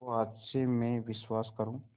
तो आज से मैं विश्वास करूँ